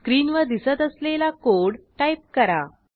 स्क्रीनवर दिसत असलेला कोड टाईप करा